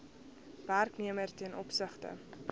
werknemer ten opsigte